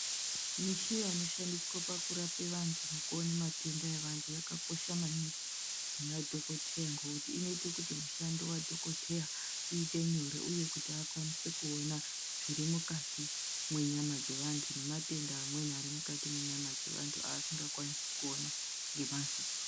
Mishina inoshandiswa pakurape vantu nekuone matenda evantu yakakosha maningi kuna dhokoteya ngekuti inoite kuti mushando wadhokoteya uite nyore uye kuti akwanise kuona zviri mukati mwenyama dzevantu nematenda amweni ari mukati mwenyama dzevantu asingakwanisi kuona ngemaziso.